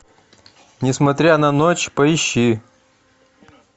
несмотря на ночь поищи